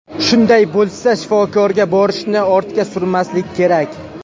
Shunday bo‘lsa, shifokorga borishni ortga surmaslik kerak.